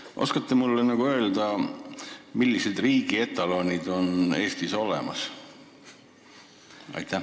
Kas te oskate mulle öelda, millised riigi etalonid on Eestis olemas?